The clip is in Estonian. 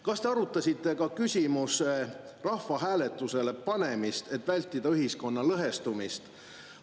Kas te arutasite ka küsimuse rahvahääletusele panemist, et vältida ühiskonna lõhestumist?